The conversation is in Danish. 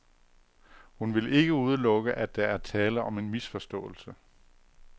Hun vil ikke udelukke, at der er tale om en misforståelse.